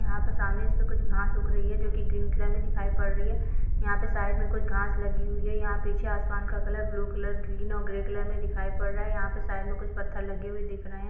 यहाँ पर सामने इस पे कुछ घास उग रही है जोकि ग्रीन कलर में दिखाई पड़ रही है। यहाँ पे साइड में कुछ घास लगी हुई है। यहाँ पीछे आसमान का कलर कुछ ब्लू कलर ग्रीन और ग्रे कलर में दिखाई पड़ रहा है। यहाँ पर साइड में कुछ पत्थर लगे हुए दिख रहे है।